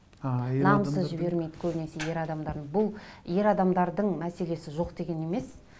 а намысы жібермейді көбінесе ер адамдардың бұл ер адамдардың мәселесі жоқ деген емес